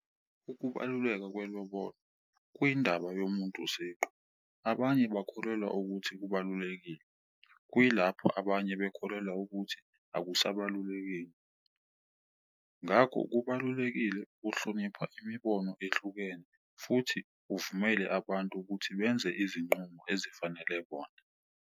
Ukubaluleka kwelobolo kuyindaba yomuntu siqu, abanye bakholelwa ukuthi kubalulekile kuyilapho abanye bekholelwa ukuthi akusabalulekile. Ngakho kubalulekile ukuhlonipha imibono ehlukene futhi uvumele abantu ukuthi benze izinqumo ezifanele bona.